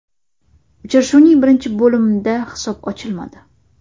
Uchrashuvning birinchi bo‘limda hisob ochilmadi.